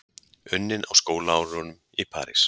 Unnin á skólaárunum í París.